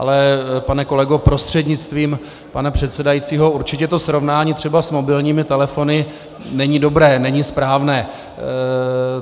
Ale pane kolego prostřednictvím pana předsedajícího, určitě to srovnání třeba s mobilními telefony není dobré, není správné.